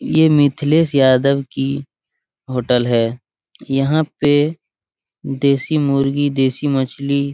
ये मिथिलेश यादव की होटल है यहां पर देसी मुर्गी देसी मछली --